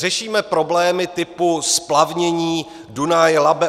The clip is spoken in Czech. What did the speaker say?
Řešíme problémy typu splavnění Dunaj - Labe -